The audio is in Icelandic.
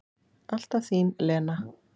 Alltaf þín Lena.